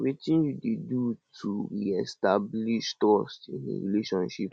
wetin you dey do to reestablish trust in a relationship